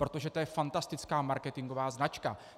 Protože to je fantastická marketingová značka.